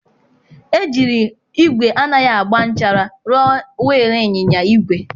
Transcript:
Ejiri igwe anaghị agba nchara rụọ wil inyịnya igwe.